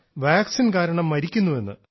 vaccine കാരണം മരിക്കുന്നെന്ന്